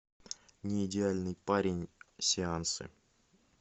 не идеальный парень сеансы